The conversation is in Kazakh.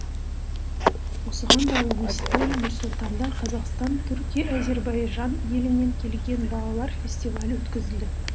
осыған байланысты нұр сұлтанда қазақстан түркия әзербайжан елінен келген балалар фестивалі өткізілді